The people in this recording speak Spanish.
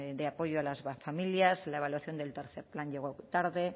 de apoyo a las familias la evaluación del tercer plan llegó tarde